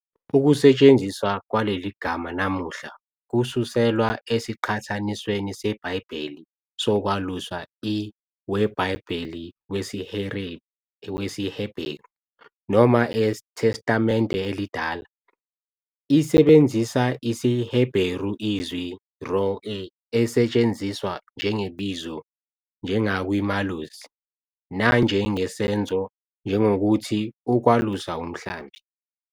Ukusetshenziswa kwaleli gama namuhla kususelwa esiqhathanisweni seBhayibheli sokwalusa. IweBhayibheli wesiHebheru, noma eTestamente Elidala, isebenzisa isiHebheru izwi, "roʿeh", esetshenziswa njengebizo njengakwi "malusi", nanjengesenzo njengokuthi "ukwalusa umhlambi."